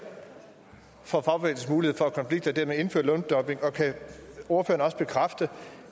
for fagbevægelsens mulighed for at konflikte og dermed indføre løndumping og kan ordføreren bekræfte